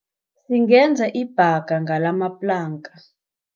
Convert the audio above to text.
Singenza ibhanga ngalamaplanka.